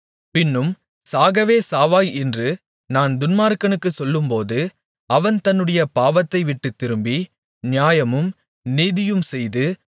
பின்னும் சாகவே சாவாய் என்று நான் துன்மார்க்கனுக்குச் சொல்லும்போது அவன் தன்னுடைய பாவத்தைவிட்டுத் திரும்பி நியாயமும் நீதியும்செய்து